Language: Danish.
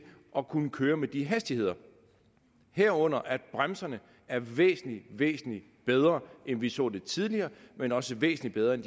at kunne køre med de hastigheder herunder at bremserne er væsentlig væsentlig bedre end vi så det tidligere men også væsentlig bedre end